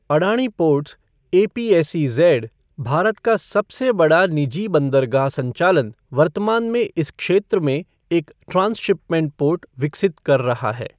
Adani ports A P S E Z, Bharat का सबसे बड़ा निजी बंदरगाह संचालन, वर्तमान में इस क्षेत्र में एक ट्रांसशिपमेंट पोर्ट विकसित कर रहा है।